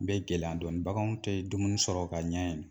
bɛ gɛlɛya dɔɔnin baganw tɛ dumuni sɔrɔ ka ɲɛ yen